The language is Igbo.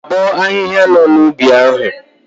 Abọọ ahịhịa nọ n'ubi ahu?